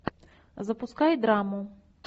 запускай драму